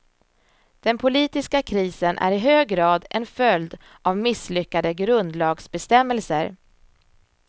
Den politiska krisen är i hög grad en följd av misslyckade grundlagsbestämmelser.